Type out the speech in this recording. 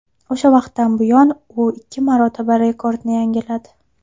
O‘sha vaqtdan buyon u ikki marotaba rekordni yangiladi.